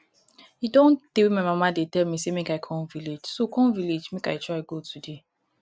e don tey wey my mama dey tell me make i come village so come village so i go try go today